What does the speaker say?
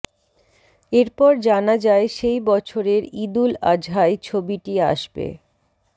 এরপর জানা যায় সেই বছরের ঈদুল আজহায় ছবিটি আসবে